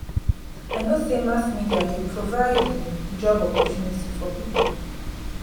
i know sey mass media dey provide um job opportunity for pipo.